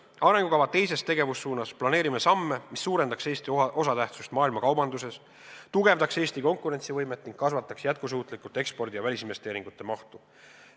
Arengukava teises tegevussuunas planeerime samme, mis suurendaks Eesti osatähtsust maailmakaubanduses, tugevdaks Eesti konkurentsivõimet ning kasvataks jätkusuutlikult ekspordi ja välisinvesteeringute mahtu.